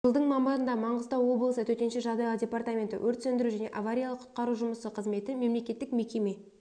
жылдың мамырында маңғыстау облысы төтенше жағдайлар департаменті өрт сөндіру және авариялық құтқару жұмысы қызметі мемлекеттік мекеме